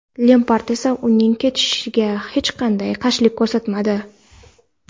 Lempard esa uning ketishiga hech qanday qarshilik ko‘rsatmadi.